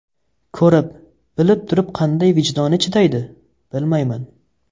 Ko‘rib-bilib turib qanday vijdoni chidaydi, bilmayman.